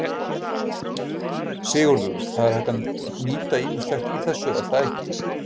Sigurður: Það er hægt að nýta ýmislegt í þessu, er það ekki?